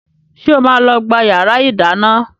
Ṣé o máa lọ gbá yàrá ìdáná?